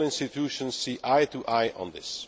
All institutions see eye to eye on this.